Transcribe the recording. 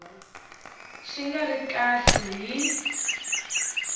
xi nga ri kahle hi